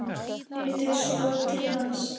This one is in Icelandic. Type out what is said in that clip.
Lítur svo til hans.